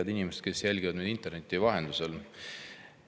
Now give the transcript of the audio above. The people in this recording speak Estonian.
Head inimesed, kes te jälgite meid interneti vahendusel!